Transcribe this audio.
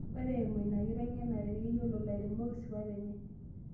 Ore eimu inakiteng'enare, keyiolou lairemok sipat enye